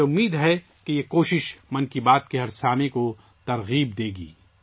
مجھے امید ہے کہ یہ کوشش 'من کی بات' کے ہر سننے والے کو متاثر کرے گی